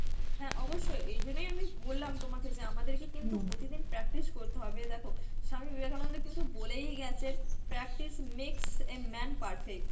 হ্যাঁ অবশ্যই, এই জন্যই আমি বললাম তোমাকে যে আমাদেরকে কিন্তু প্রতিদিন practice করতে হবে. দেখো স্বামী বিবেকানন্দ কিন্তু বলেই গেছেন practice makes a man perfect.